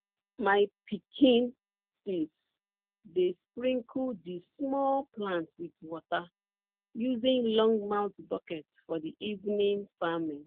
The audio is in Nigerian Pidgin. my pikin sis dey sprinkle di small plants wit water using longmouth bucket for evening farming